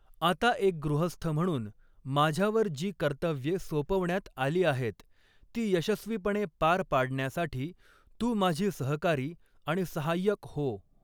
आता एक गृहस्थ म्हणून माझ्यावर जी कर्तव्ये सोपवण्यात आली आहेत, ती यशस्वीपणे पार पाडण्यासाठी तू माझी सहकारी आणि सहाय्यक हो.